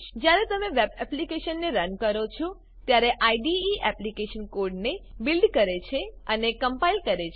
જ્યારે તમે વેબ એપ્લીકેશનને રન કરો છો ત્યારે આઈડીઈ એપ્લીકેશન કોડને બીલ્ડ કરે છે અને કમ્પાઈલ કરે છે